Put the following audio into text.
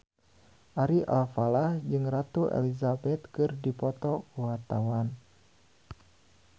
Ari Alfalah jeung Ratu Elizabeth keur dipoto ku wartawan